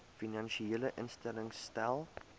finansiële instellings stel